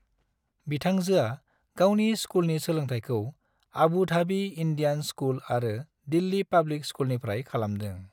बिथांजोआ गावनि स्कुलनि सोलोंथायखौ आबू धाबी इन्डियान स्कुल आरो दिल्ली पाब्लिक स्कुलनिफ्राय खालामदों।